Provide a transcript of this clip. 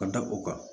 Ka da o kan